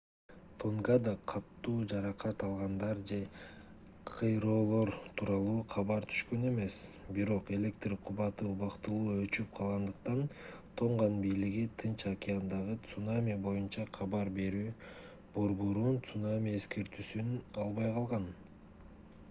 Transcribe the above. тонгада катуу жаракат алгандар же кыйроолор тууралуу кабар түшкөн эмес бирок электр кубаты убактылуу өчүп калгандыктан тонган бийлиги тынч океандагы цунами боюнча кабар берүү борборунун цунами эскертүүсүн албай калган